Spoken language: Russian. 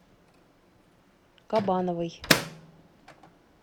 кабановой